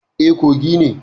E, Kogi ne.